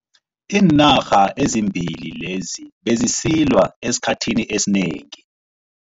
Iinarha ezimbili lezi bezisilwa esikhathini esinengi.